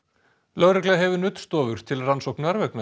lögregla hefur nuddstofur til rannsóknar vegna